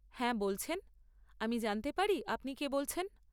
হ্যাঁ, বলছেন। আমি জানতে পারি আপনি কে বলছেন?